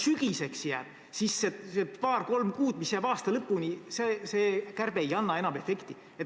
Kui ta jääb sügiseks, siis need paar-kolm kuud, mis aasta lõpuni jäävad, ei anna see kärbe enam efekti.